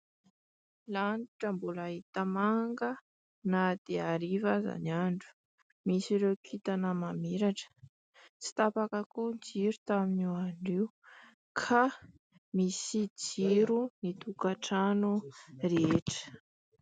Lanitra mbola hita manga na dia hariva aza ny andro, misy ireo kitana mamiratra, tsy tapaka koa ny jiro taminio andro io ka misy jiro ny tokan-trano rehetra.